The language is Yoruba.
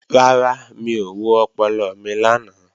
Rárá, mi ò wo ọpọlọ mi lánàá